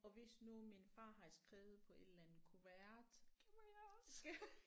Og hvis nu min far har skrevet på et eller andet kuvert